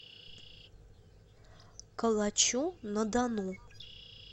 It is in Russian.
калачу на дону